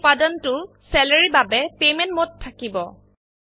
এই উপাদানটো চালাৰী এৰ বাবে পেমেন্ট মোড থাকিব